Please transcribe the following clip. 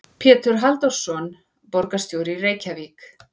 Pétur Halldórsson, borgarstjóri í Reykjavík.